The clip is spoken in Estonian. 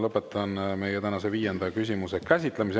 Lõpetan meie tänase viienda küsimuse käsitlemise.